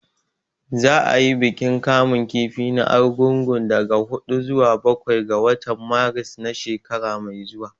Za a yi bikin kamun kifi na Argungu daga huɗu zuwa bakwai ga watan Maris na shekara mai zuwa